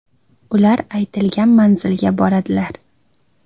Ular aytilgan manzilga boradilar.